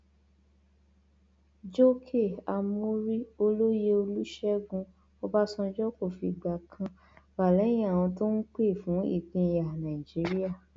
jókè amórí olóye olùṣègùn ọbànjọ kò fìgbà kan wà lẹyìn àwọn tó ń pè fún ìpínyà nàìjíríà